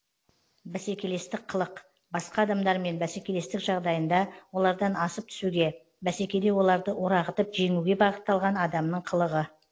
бәсекелестік қылық басқа адамдармен бәсекелестік жағдайында олардан асып түсуге бәсекеде оларды орағытып жеңуге бағытталған адамның қылығы